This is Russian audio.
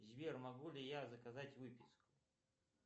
сбер могу ли я заказать выписку